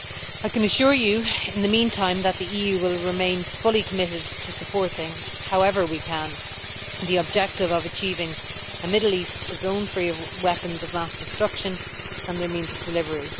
I can assure you, in the meantime, that the EU will remain fully committed to supporting, however we can, the objective of achieving a Middle East zone free of weapons of mass destruction and their means of delivery.